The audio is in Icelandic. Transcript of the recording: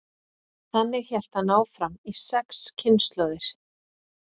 þannig hélt hann áfram í sex kynslóðir